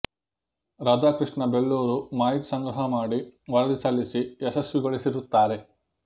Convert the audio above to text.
ರಾಧಾಕೃಷ್ಣ ಬೆಳ್ಳೂರು ಮಾಹಿತಿ ಸಂಗ್ರಹ ಮಾಡಿ ವರದಿ ಸಲ್ಲಿಸಿ ಯಶಸ್ವಿಗೊಳಿಸಿರುತ್ತಾರೆ